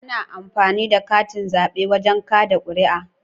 Ana amfani da katin zabe wajen kada kuri'a